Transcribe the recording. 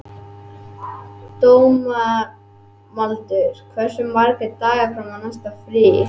Dómaldur, hversu margir dagar fram að næsta fríi?